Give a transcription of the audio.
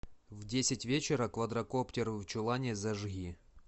в десять вечера квадракоптер в чулане зажги